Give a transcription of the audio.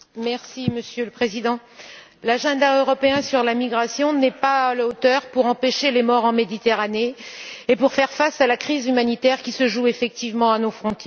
Monsieur le Président, le programme européen en matière de migrations n'est pas à la hauteur pour empêcher les morts en Méditerranée et pour faire face à la crise humanitaire qui se joue effectivement à nos frontières.